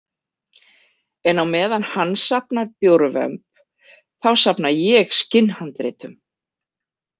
En á meðan hann safnar bjórvömb þá safna ég skinnhandritum.